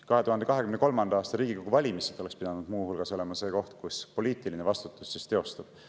2023. aasta Riigikogu valimised oleks pidanud muu hulgas olema see koht, kus poliitiline vastutus teostub.